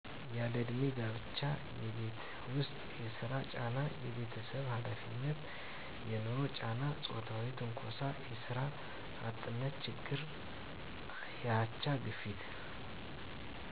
ያለእድሜ ጋብቻ የቤት ውስጥ የስራ ጫና የቤተሰብ ሀላፊነት የንሮ ጫና ጾታዊ ትንኮሳ የስራ አጥነት ችግር የአቻ ግፊት